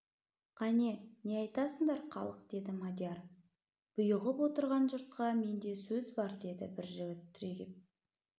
кәне не айтасыңдар халық деді мадияр бұйығып отырған жұртқа менде сөз бар деді бір жігіт түрегеп